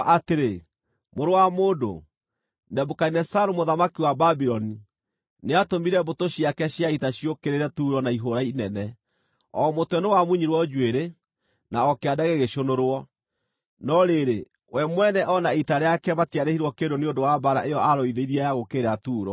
“Mũrũ wa mũndũ, Nebukadinezaru, mũthamaki wa Babuloni, nĩatũmire mbũtũ ciake cia ita ciũkĩrĩre Turo na ihũũra inene; o mũtwe nĩwamunyirwo njuĩrĩ, na o kĩande gĩgĩcũnũrwo. No rĩrĩ, we mwene o na ita rĩake matiarĩhirwo kĩndũ nĩ ũndũ wa mbaara ĩyo aarũithirie ya gũũkĩrĩra Turo.